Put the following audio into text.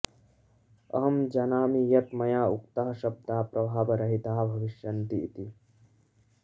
अहं जानामि यत् मया उक्ताः शब्दाः प्रभावरहिताः भविष्यन्ति इति